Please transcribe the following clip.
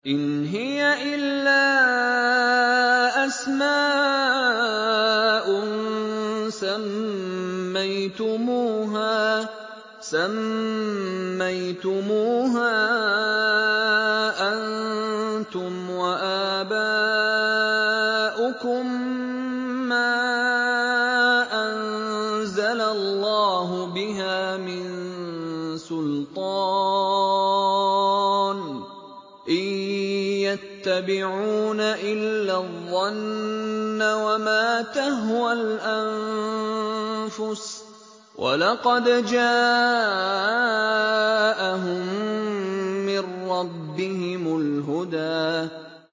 إِنْ هِيَ إِلَّا أَسْمَاءٌ سَمَّيْتُمُوهَا أَنتُمْ وَآبَاؤُكُم مَّا أَنزَلَ اللَّهُ بِهَا مِن سُلْطَانٍ ۚ إِن يَتَّبِعُونَ إِلَّا الظَّنَّ وَمَا تَهْوَى الْأَنفُسُ ۖ وَلَقَدْ جَاءَهُم مِّن رَّبِّهِمُ الْهُدَىٰ